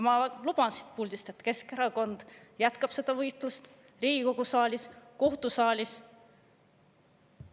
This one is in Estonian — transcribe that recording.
Ma luban siit puldist, et Keskerakond jätkab seda võitlust siin Riigikogu saalis ja kohtusaalis.